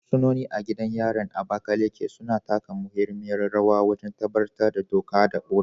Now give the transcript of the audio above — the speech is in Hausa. Fursunoni a gidan yarin Abakaleke, suna taka muhimmiyar rawa wajen tabbatar da doka da oda.